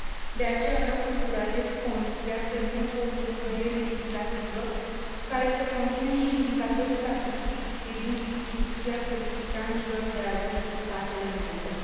De aceea, vreau să încurajez Comisia să vină cu o propunere legislativă care să conțină și indicatori statistici privind distribuția solicitanților de azil în statele membre.